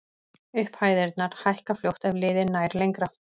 Upphæðirnar hækka fljótt ef liðið nær lengra.